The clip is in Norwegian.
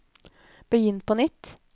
begynn på nytt